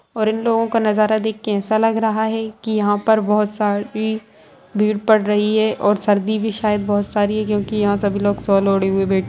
और इन लोगो का नज़ारा देख के ऐसा लग रहा है की यहाँ पर बहोत सारी भीड़ पड़ रही है और सर्दी भी शायद बहोत सारी है क्योंकि यहाँ सभी लोग शॉल ओढ़े हुए बैठे--